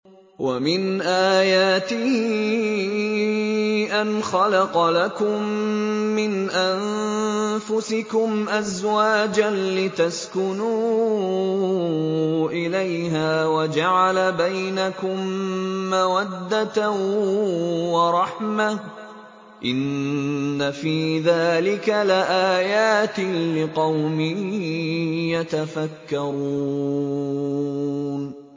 وَمِنْ آيَاتِهِ أَنْ خَلَقَ لَكُم مِّنْ أَنفُسِكُمْ أَزْوَاجًا لِّتَسْكُنُوا إِلَيْهَا وَجَعَلَ بَيْنَكُم مَّوَدَّةً وَرَحْمَةً ۚ إِنَّ فِي ذَٰلِكَ لَآيَاتٍ لِّقَوْمٍ يَتَفَكَّرُونَ